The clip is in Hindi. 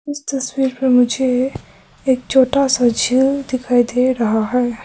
इस तस्वीर में मुझे एक छोटा सा झील दिखाई दे रहा है।